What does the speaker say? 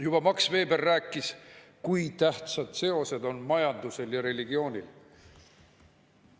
Juba Max Weber rääkis, kui tähtsad seosed on majandusel ja religioonil.